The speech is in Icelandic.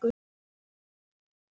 Það nægir ekki.